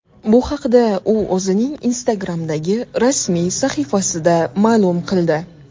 Bu haqda u o‘zining Instagram’dagi rasmiy sahifasida ma’lum qildi .